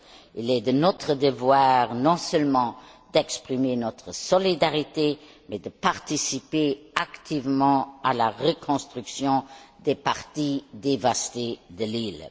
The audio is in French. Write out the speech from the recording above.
Il est de notre devoir, non seulement d'exprimer notre solidarité, mais aussi de participer activement à la reconstruction des parties dévastées de l'île.